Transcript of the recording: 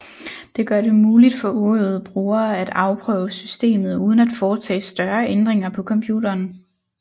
Det gør det muligt for uøvede brugere at afprøve systemet uden at foretage større ændringer på computeren